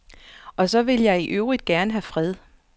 Og så vil jeg i øvrigt gerne have fred.